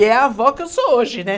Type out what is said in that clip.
E é a avó que eu sou hoje, né?